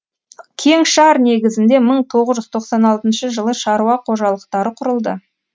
кеңшар негізінде мың тоғыз жүз тоқсан алтыншы жылы шаруа қожалықтары құрылды